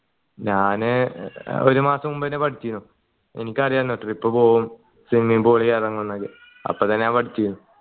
ഞാൻ ഒരു മാസം മുമ്പേ പഠിച്ചീനു എനിക്കറിയാലോ trip പോവുന്ന് swimming pool ഇറങ്ങു എന്നത് അപ്പൊ തന്നെ ഞാൻ പഠിച്ചീന്